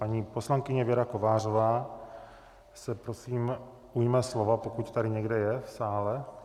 Paní poslankyně Věra Kovářová se prosím ujme slova, pokud tady někde je v sále.